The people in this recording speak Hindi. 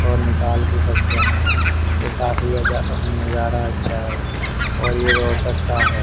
और निकाल भी सकते हैं ये काफी आजा नजारा अच्छा है और ये रोहतक का है।